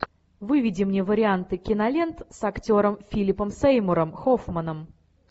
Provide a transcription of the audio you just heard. выведи мне варианты кинолент с актером филипом сеймуром хоффманом